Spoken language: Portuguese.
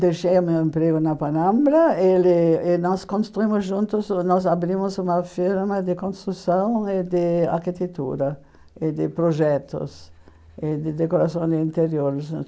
Deixei o meu emprego na Panambra ele e nós construímos juntos, nós abrimos uma firma de construção e de arquitetura, e de projetos, e de decoração de interiores.